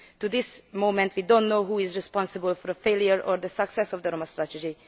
At this moment we do not yet know who is responsible for the failure or the success of the Roma strategy.